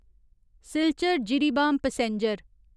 Silchar Jiribam passenger